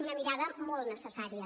una mirada molt necessària